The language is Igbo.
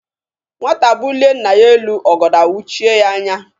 Nwata bulie nna ya elu, ọgọdọ awụchie ya anya.